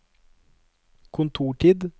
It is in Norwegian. kontortid